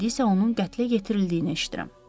İndi isə onun qətlə yetirildiyini eşidirəm.